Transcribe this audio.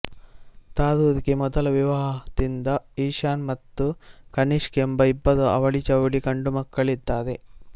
ತರೂರ್ ಗೆ ಮೊದಲ ವಿವಾಹದಿಂದ ಈಶಾನ್ ಮತ್ತು ಕನಿಷ್ಕ್ ಎಂಬ ಇಬ್ಬರು ಅವಳಿಜವಳಿ ಗಂಡುಮಕ್ಕಳಿದ್ದಾರೆ